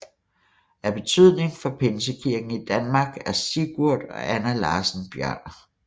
Af betydning for pinsekirken i Danmark er Sigurd og Anna Larssen Bjørner